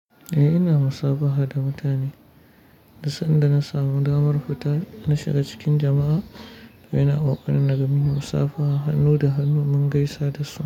Eh ina musafaha da mutane, duk sanda na samu damar fita na shiga cikin jama'a. Ina kokari naga munyi musafaha hannu da hannu mun gaisa da su.